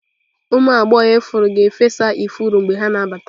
Ụmụ agbọghọ ifuru ga-efesa ifuru mgbe ha na-abata.